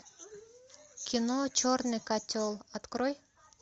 кино черный котел открой